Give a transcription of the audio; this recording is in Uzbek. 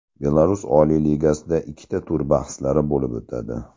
Belarus Oliy Ligasida ikkita tur bahslari bo‘lib o‘tadi.